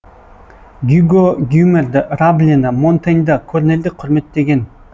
гюго гомерді раблені монтеньді корнельді құрметтеген